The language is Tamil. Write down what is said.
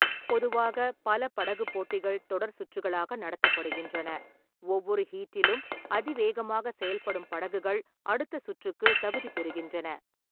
பொதுவாக, பல படகுப் போட்டிகள் தொடர் சுற்றுகளாக நடத்தப்படுகின்றன, ஒவ்வொரு ஹீட்டிலும் அதிவேகமாக செயல்படும் படகுகள் அடுத்த சுற்றுக்கு தகுதி பெறுகின்றன.